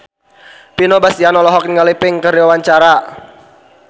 Vino Bastian olohok ningali Pink keur diwawancara